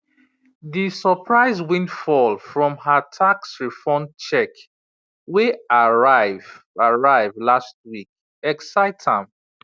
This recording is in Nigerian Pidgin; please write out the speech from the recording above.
d surprise windfall from her tax refund check wey arrive arrive last week excite am